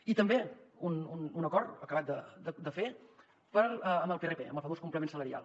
i també un acord acabat de fer en el prp el famós complement salarial